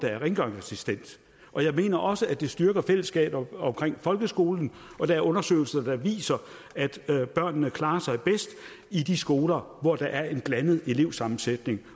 rengøringsassistent jeg mener også at det styrker fællesskabet omkring folkeskolen og der er undersøgelser der viser at børnene klarer sig bedst i de skoler hvor der er en blandet elevsammensætning